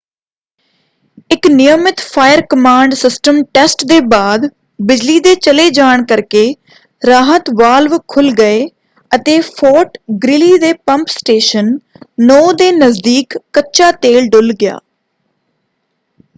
ਇੱਕ ਨਿਯਮਿਤ fire command system test ਦੇ ਬਾਅਦ ਬਿਜਲੀ ਦੇ ਚਲੇ ਜਾਣ ਕਰਕੇ ਰਾਹਤ ਵਾਲਵ ਖੁੱਲ੍ਹ ਗਏ ਅਤੇ ਫੋਰਟ ਗ੍ਰੀਲੀ ਦੇ ਪੰਪ ਸਟੇਸ਼ਨ 9 ਦੇ ਨਜ਼ਦੀਕ ਕੱਚਾ ਤੇਲ ਡੁੱਲ੍ਹ ਗਿਆ।